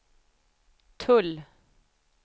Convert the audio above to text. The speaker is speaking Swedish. tull